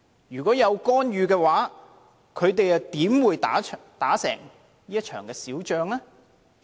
如果有干預，他們怎會打勝這場小仗呢？